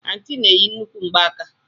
Anti na-eyi nnukwu ngbaaka.